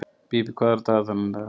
Bíbí, hvað er á dagatalinu í dag?